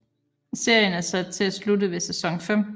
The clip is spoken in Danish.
Serien er sat til at slutte ved sæson 5